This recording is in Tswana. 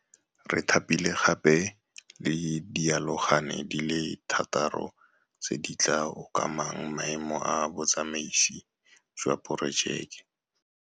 Re thapile gape le dialogane di le thataro tse di tla okamang maemo a Botsamaisi jwa Porojeke.